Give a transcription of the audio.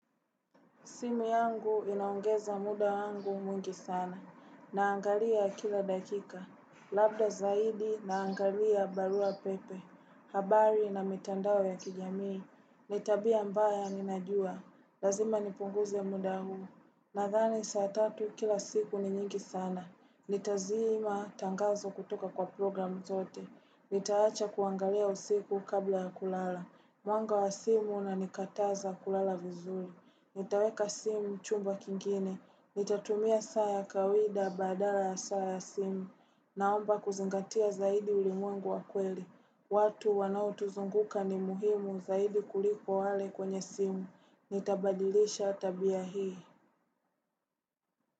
Simu yangu inaongeza muda wangu mwingi sana. Naangalia kila dakika. Labda zaidi naangalia barua pepe. Habari na mitandao ya kijamii. Ni tabia mbaya ninajua. Lazima nipunguze muda huu. Nadhani saa tatu kila siku ni nyingi sana. Nitazima tangazo kutoka kwa program zote. Nitaacha kuangalia usiku kabla ya kulala. Mwanga wa simu unanikataza kulala vizuri. Nitaweka simu chumba kingine. Nitatumia saa ya kawaida badala ya saa ya simu. Naomba kuzingatia zaidi ulimwengu wa kweli. Watu wanaotuzunguka ni muhimu zaidi kuliko wale kwenye simu. Nitabadilisha tabia hii.